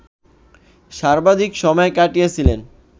সর্বাধিক সময় কাটিয়েছিলেন